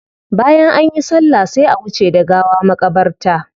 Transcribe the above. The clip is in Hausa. Bayan anyi sallah sai a wuce da gawa makabarta.